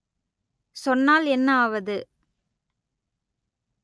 சொன்னால் என்ன ஆவது